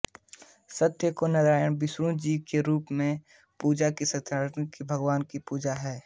सत्य को नारायण विष्णु जी के रूप में पूजना ही सत्यनारायण भगवान की पूजा है